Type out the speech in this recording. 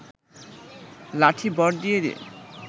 লাঠি ভর দিয়ে দিয়ে